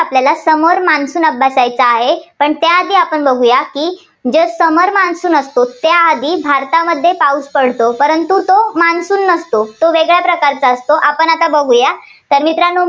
आपल्याला summer monsoon अभ्यासायचा आहे. पण त्याआधी आपण बघुया की जे summer monsoon असतो, त्याआधी भारतामध्ये पाऊस पडतो. परंतु तो monsoon नसतो. तो वेगळ्या प्रकारचा असतो. तर मित्रांनो